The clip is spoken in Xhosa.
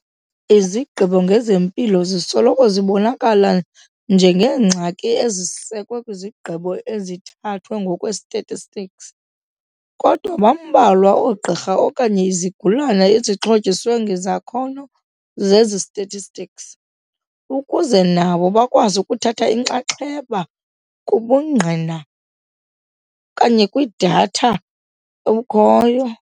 Izigqibo ngezempilo zisoloko zibonakala njengeengxaki ezisekwe kwizigqibo ezithathwe ngokwe-statistics, kodwa bambalwa oogqirha okanye izigulana ezixhotyiswe ngezakhono zesi-statistics, ukuze nabo bakwazi ukuthatha inxaxheba kubungqina kwi-data obukhoyo.